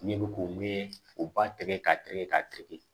Ne bɛ k'o min o ba tigɛ ka tɛgɛ k'a tigɛ